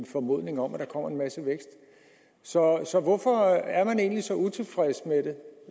formodningen om at der kommer en masse vækst så så hvorfor er man egentlig så utilfreds